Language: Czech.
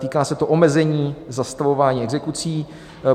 Týká se to omezení zastavování exekucí.